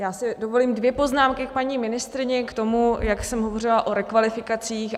Já si dovolím dvě poznámky k paní ministryni, k tomu, jak jsem hovořila o rekvalifikacích.